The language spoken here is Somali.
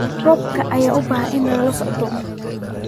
Roobabka ayaa u baahan in lala socdo.